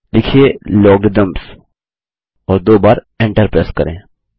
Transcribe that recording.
लिखिए Logarithms और दो बार Enter प्रेस करें